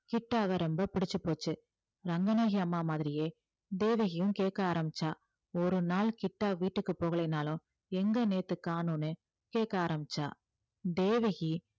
கிட்டாவ ரொம்ப பிடிச்சுப்போச்சு ரங்கநாயகி அம்மா மாதிரியே தேவகியும் கேட்க ஆரம்பிச்சா ஒரு நாள் கிட்டா வீட்டுக்கு போகலைன்னாலும் எங்க நேத்து காணோம்னு கேட்க ஆரம்பிச்சா தேவகி